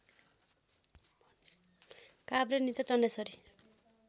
Kavre Nityachandeshwari